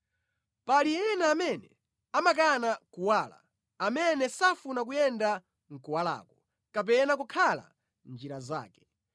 “Pali ena amene amakana kuwala, amene safuna kuyenda mʼkuwalako kapena kukhala mʼnjira zake.